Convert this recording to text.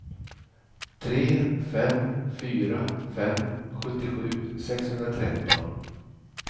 tre fem fyra fem sjuttiosju sexhundratretton